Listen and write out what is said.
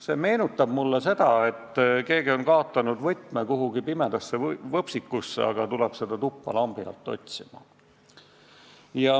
See meenutab mulle seda, et keegi on kaotanud võtme pimedasse võpsikusse, aga tuleb seda tuppa lambi alt otsima.